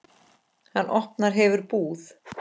Hann opna hefur búð.